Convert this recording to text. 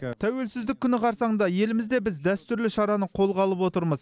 тәуелсіздік күні қарсаңында елімізде біз дәстүрлі шараны қолға алып отырмыз